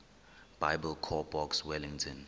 biblecor box wellington